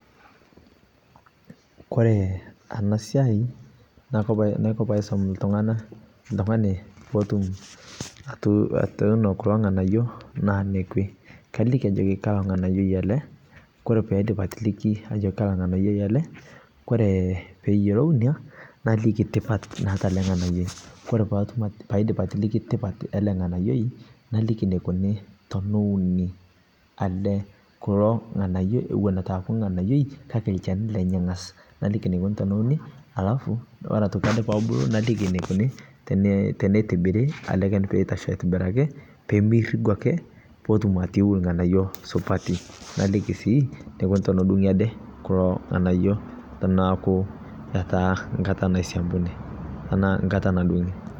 Ore enasiai nakopaisum oltungani oltungani oyieu neun kulo nganayio na kaliki ajoki ka nganayioi ele ore paidip atiliki ajo kaanganayioi ele naliki tipat ele nganayio, ore paidip atiliki tipat ele nganayioi naliki enikikuni teneuni kake olchani lenye angas naliki enikuni tenitibiri peitasho aitobiraki petumbatoiu nganayio supati ,naliki sii enikuni tenedungi kulo nganayio enkata naisiadunianaa nkata nadungi.